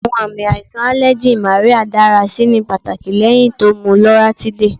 Awọn aami aiṣan aleji Marya dara si ni pataki lẹhin mu Loratiday